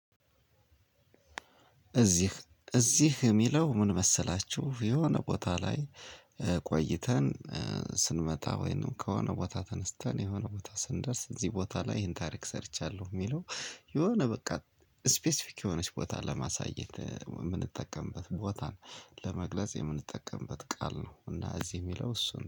እዚህ የሚለው ምን መሰላችሁ የሆነ ቦታ ላይ ቆይተን ስንመጣ ወይንም ከሆነ ቦታ ተነስተን የሆነ ቦታ ስንደርስ እዚህ ቦታ ላይ ይሄን ታሪክ ሰርቻለሁ የሚለው የሆነ በቃ ስፔሲፊክ የሆነች ቦታ ለማሳየት የምንጠቀምበት ቦታን ለመግለጽ የምንጠቀምበት ቃል ነው እና እዚህ የሚለው እሱን ነው